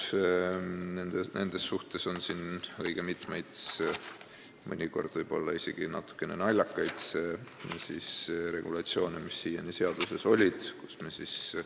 Seaduses on siiani õige mitmeid, mõnikord võib-olla isegi natuke naljakaid regulatsioone.